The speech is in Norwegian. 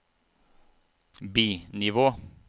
bi-nivå